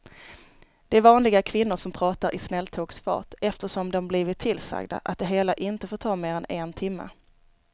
Det är vanliga kvinnor som pratar i snälltågsfart eftersom de blivit tillsagda att det hela inte får ta mer än en timme.